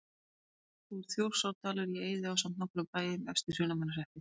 Þá fór Þjórsárdalur í eyði ásamt nokkrum bæjum efst í Hrunamannahreppi.